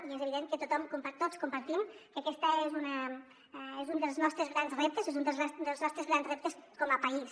i és evident que tots compartim que aquest és un dels nostres grans reptes és un dels nostres grans reptes com a país